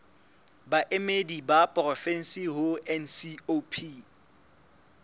baemedi ba porofensi ho ncop